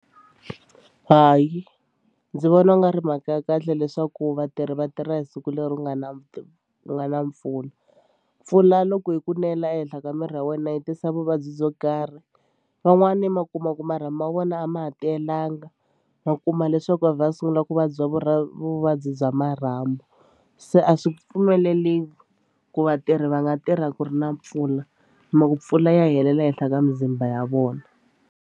Hayi ndzi vona ku nga ri mhaka ya kahle leswaku vatirhi va tirha hi siku leri ku nga na ku nga na mpfula. Mpfula loko yi ku nela ehenhla ka miri ya wena yi tisa vuvabyi byo karhi van'wani ma kuma ku marhambu ma vona a ma ha tiyelanga ma kuma leswaku a vha a sungula ku vabya vu ra vuvabyi bya marhambu se a swi pfumeleriwi ku vatirhi va nga tirha ku ri na mpfula mhaku mpfula ya helela henhla ka mizimba ya vona.